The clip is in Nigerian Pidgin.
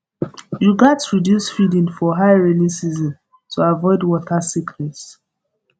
you gat reduce feeding for high rainy season to avoid water sickness